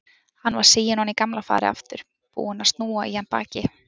Hann var siginn ofan í gamla farið aftur, búinn að snúa í hann baki.